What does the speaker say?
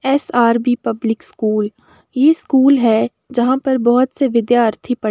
SRB. Public school ये school है जहां पर बोहोत से विद्यार्थी पढ़ --